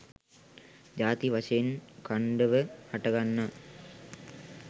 ජාති වශයෙන් අඛණ්ඩව හටගන්නා